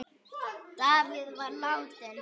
Davíð var látinn.